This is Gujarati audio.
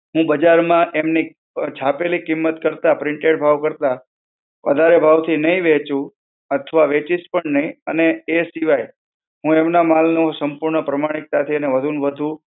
હું બજારમાં એમની છાપેલી કિંમત કરતા, printed ભાવ કરતાં વધારે ભાવથી નહીં વહેંચું, અથવા વેચીશ પણ નહીં, અને એ સિવાય હું એમના માલનો, સંપૂર્ણ પ્રમાણિકતાથી એને વધુ ને વધુ